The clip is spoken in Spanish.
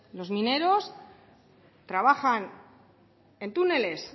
los mineros trabajan en túneles